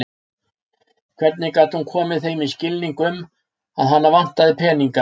Hvernig gat hún komið þeim í skilning um að hana vantaði peninga?